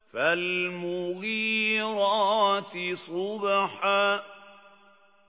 فَالْمُغِيرَاتِ صُبْحًا